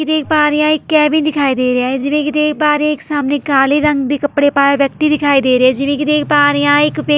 ਦੇਖ ਪਾ ਰਹੀ ਹਾਂ ਇੱਥ ਕੈਬਿਨ ਦਿਖਾਈ ਦੇ ਰਿਹਾ ਏ ਜਿਵੇਂ ਕਿ ਦੇਖ ਪਾ ਰਹੀ ਹਾਂ ਇੱਕ ਸਾਹਮਣੇ ਕਾਲੇ ਰੰਗ ਦੇ ਕਪੜੇ ਪਾਇਆ ਵਿਅਕਤੀ ਦਿਖਾਈ ਦੇ ਰਿਹਾ ਏ ਜਿਵੇਂ ਕਿ ਦੇਖ ਪਾ ਰਹੀ ਹਾਂ ਇੱਕ ਵਿਅਕਤੀ ਸੈਲਫੀ --